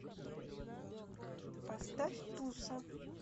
поставь туса